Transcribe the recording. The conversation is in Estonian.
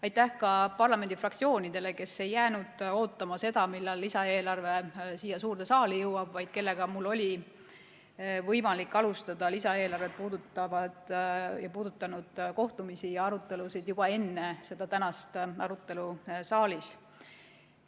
Aitäh ka parlamendi fraktsioonidele, kes ei jäänud ootama seda, millal lisaeelarve siia suurde saali jõuab, vaid kellega mul oli võimalik alustada lisaeelarvet puudutanud kohtumisi ja arutelusid juba enne tänast arutelu siin saalis.